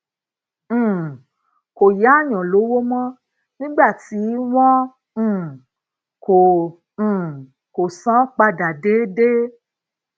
um kò yáyan lowo mó nígbà tí won um ko um ko san an pada deede